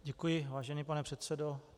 Děkuji, vážený pane předsedo.